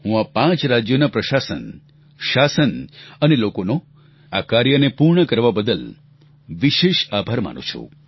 હું આ પાંચ રાજ્યોના પ્રશાસન શાસન અને લોકોનો આ કાર્યને પૂર્ણ કરવા બદલ વિશેષ આભાર માનું છું